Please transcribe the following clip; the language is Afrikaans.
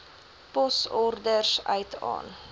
posorders uit aan